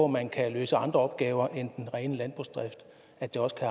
man kan løse andre opgaver end den rene landbrugsdrift at der også kan